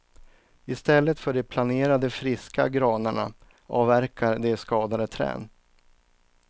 I stället för de planerade friska granarna avverkar de skadade träd.